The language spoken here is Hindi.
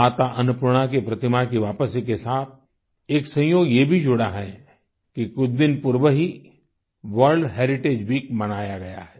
माता अन्नपूर्णा की प्रतिमा की वापसी के साथ एक संयोग ये भी जुड़ा है कि कुछ दिन पूर्व ही वर्ल्ड हेरिटेज वीक मनाया गया है